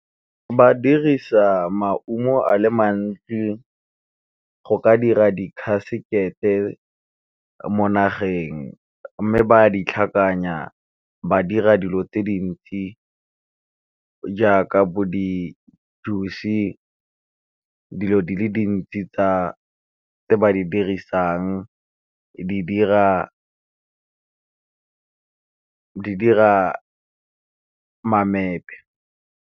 Ba dirisa maungo a le mantsi go ka dira di khasekete mo nageng, mme ba di tlhakanya ba dira dilo tse dintsi jaaka bo di-juice, dilo di le dintsi tse ba di dirisang di dira mamepe.